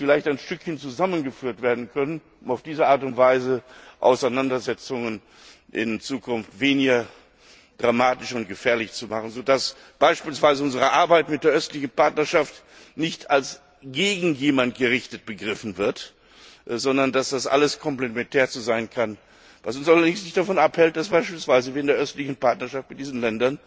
ein Stück weit zusammengeführt werden können, um auf diese Art und Weise Auseinandersetzungen in Zukunft weniger dramatisch und gefährlich zu machen, so dass beispielsweise unsere Arbeit mit der Östlichen Partnerschaft nicht als gegen jemand gerichtet begriffen wird, sondern dass das alles komplementär sein kann, was uns allerdings nicht davon abhält, dass wir beispielsweise mit der Östlichen Partnerschaft mit diesen Ländern,